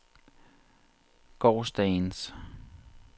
gårsdagens